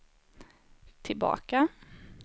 tillbaka